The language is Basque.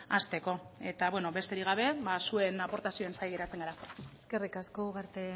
hasteko eta beno besterik gabe zuen aportazioen zain geratzen gara eskerrik asko ugarte